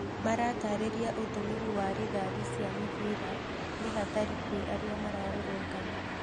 Maratarĩria utũmĩri wa rithathi cia mĩbira nĩ hatari kwa arĩa mararũrũngana